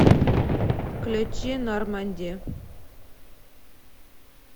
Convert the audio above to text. включи норманди